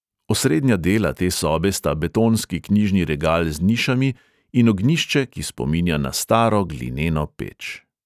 Osrednja dela te sobe sta betonski knjižni regal z nišami in ognjišče, ki spominja na staro glineno peč.